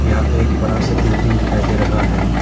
यहां पे एक बड़ा सा बिल्डिंग दिखाई दे रहा है।